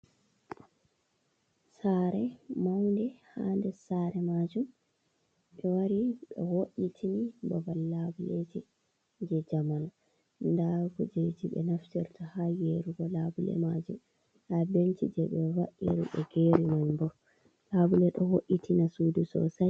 Sare maunɗe, ha nɗer sare majum, ɓe wari ɓe vo’itini babal laɓuleji je jamaanu. Nɗa kujeji be naftirta ha gerugo labule majum. Nɗa benci je be vaa’iri ɓe geri man ɓo laɓule ɗo vo’’itina suɗu sosai.